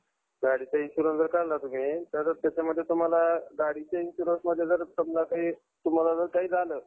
गाडीचा insurance जर काढला तुम्ही तर त्याच्यामध्ये तुम्हाला गाडीच्या insurance मध्ये जर समजा जर तुम्हाला काही झालं